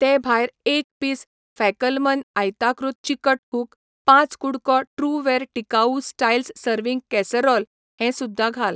ते भायर एक पीस फॅकलमन आयताकृत चिकट हुक, पांच कु़डको ट्रूवेयर टिकाऊ स्टायल्स सर्व्हिंग कॅसरोल हें सुध्दां घाल.